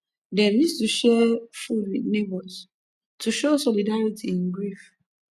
dem use to share food with neighbors to show solidarity in grief